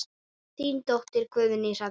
Þín dóttir, Guðný Hrefna.